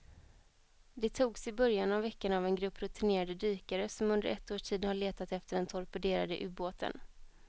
De togs i början av veckan av en grupp rutinerade dykare som under ett års tid har letat efter den torpederade ubåten.